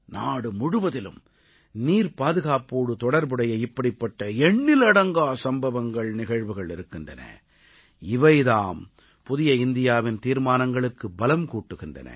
நாடு முழுவதிலும் நீர்ப்பாதுகாப்போடு தொடர்புடைய இப்படிப்பட்ட எண்ணிலடங்கா சம்பவங்கள்நிகழ்வுகள் இருக்கின்றன இவைதாம் புதிய இந்தியாவின் தீர்மானங்களுக்கு பலம் கூட்டுகின்றன